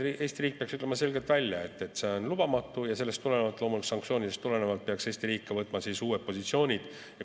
Eesti riik peaks ütlema selgelt välja, et see on lubamatu, ja sellest tulenevalt ja loomulikult ka sanktsioonidest tulenevalt peaks Eesti riik võtma uued positsioonid.